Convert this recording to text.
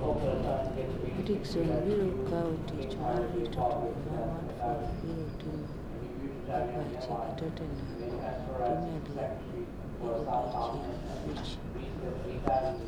Atkinson biro kawo tich mar rito tugo ma Watford biro timo e pache gi Tottenham e Premier League e odiechieng' abich.